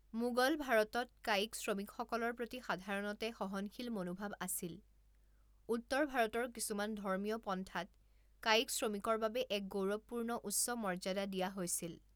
মোগল ভাৰতত, কায়িক শ্ৰমিকসকলৰ প্ৰতি সাধাৰণতে সহনশীল মনোভাৱ আছিল, উত্তৰ ভাৰতৰ কিছুমান ধৰ্মীয় পন্থাত কায়িক শ্ৰমিকৰ বাবে এক গৌৰৱপূৰ্ণ উচ্চ মৰ্যাদা দিয়া হৈছিল।